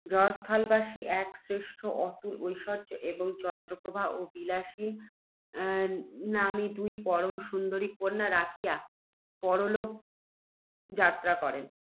জয়স্থলবাসী এক শ্রেষ্ঠী, অতুল ঐশ্বর্য্য এবং চন্দ্রপ্রভা ও বিলাসিনী নাম্নী দুই পরম সুন্দরী কন্যা রাখিয়া, পরলোক যাত্রা করেন।